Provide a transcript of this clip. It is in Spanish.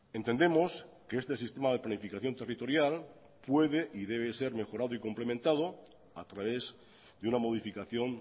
entendemos que este sistema de planificación territorial puede y debe ser mejorado y complementado a través de una modificación